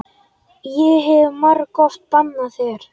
Ég hef margoft bannað þér.